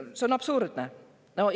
See on absurdne!